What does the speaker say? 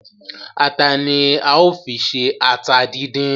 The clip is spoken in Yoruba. Ata ni a ó fi ṣe ata díndín